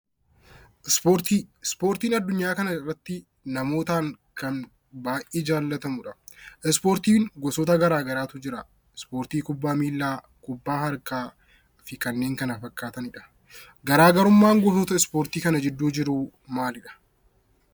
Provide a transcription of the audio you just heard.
Ispoortiin addunyaa kana irratti namootaan kan baay'ee jaallatamudha. Ispoortiin gosoota garaa garaatu jira. Isaanis: kubbaa miilaa, kubbaa harkaa fi kanneen kana fakkaatanidha. Garaagarummaan gosoota ispoortii kana gidduu jiru maalidha?